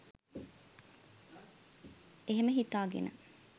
එහෙම හිතාගෙන